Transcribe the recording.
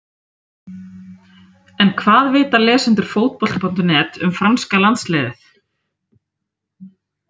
En hvað vita lesendur Fótbolta.net um franska landsliðið?